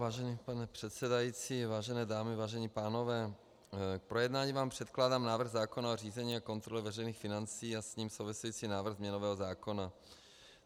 Vážený pane předsedající, vážené dámy, vážení pánové, k projednání vám předkládám návrh zákona o řízení a kontrole veřejných financí a s ním související návrh změnového zákona.